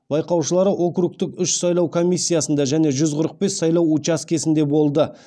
байқаушылары округтік үш сайлау комиссиясында және жүз қырық бес сайлау учаскесінде болды